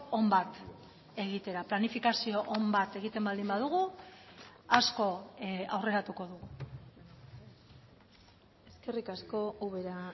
on bat egitera planifikazio on bat egiten baldin badugu asko aurreratuko dugu eskerrik asko ubera